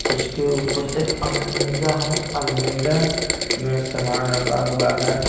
इसके ऊपर एक अलमीरा हैं अलमीरा में सामान रखा हुआ हैं।